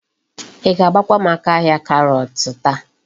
Í ga-agbakwa m aka ahia karọt taa.